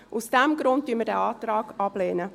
Aus diesem Grund lehnen wir diesen Antrag ab.